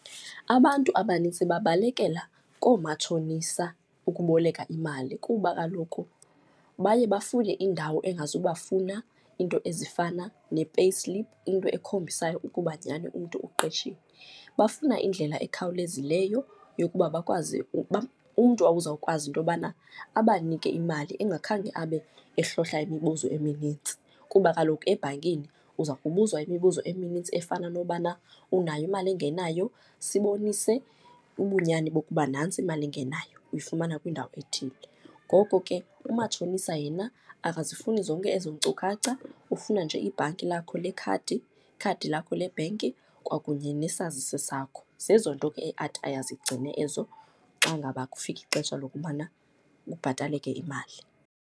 Abantu abanintsi bebalekela koomatshonisa ukuboleka imali, kuba kaloku baye bafune indawo engazubafuna iinto ezifana ne-payslip, into ekhombisayo ukuba nyhani umntu uqeshiwe. Bafuna indlela ekhawulezileyo yokuba bakwazi uba, umntu ozawukwazi into yobana abanike imali engakhange abe ehlohla imibuzo eminintsi. Kuba kaloku ebhankini uza kubuzwa imibuzo eminintsi efana nokubana unayo imali engenayo, sibonise ubunyani bokuba nantsi imali engenayo uyifumana kwindawo ethile. Ngoko ke umatshonisa yena akazifuni zonke ezo nkcukacha, ufuna nje ibhanki lakho lekhadi, ikhadi lakho le bhenki kwakunye nesazisi sakho. Zezo nto ke athi aye azigcine ezo xa ngaba kufika ixesha lokubana kubhataleke imali.